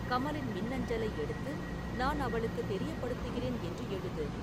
கமலின் மின்னஞ்சலை எடுத்து நான் அவளுக்கு தெரியப்படுத்துகிறேன் என்று எழுது